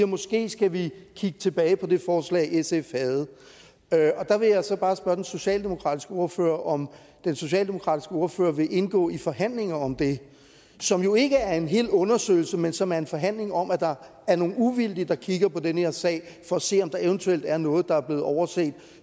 måske skal vi kigge tilbage på det forslag sf havde og der vil jeg så bare spørge den socialdemokratiske ordfører om den socialdemokratiske ordfører vil indgå i forhandlinger om det som jo ikke er en hel undersøgelse men som er en forhandling om at der er nogle uvildige der kigger på den her sag for at se om der eventuelt er noget der er blevet overset